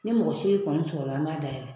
Ne mɔgɔ seegin kɔni sɔrɔla an b'a dayɛlɛ.